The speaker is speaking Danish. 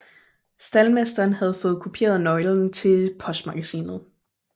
Staldmesteren havde fået kopieret nøglen til postmagasinet